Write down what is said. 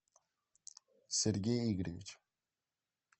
сергей игоревич